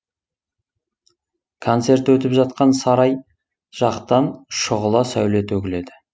концерт өтіп жатқан сарай жақтан шұғыла сәуле төгіледі